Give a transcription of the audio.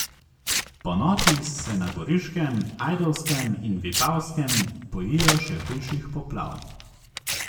Ponoči se na Goriškem, Ajdovskem in Vipavskem bojijo še hujših poplav.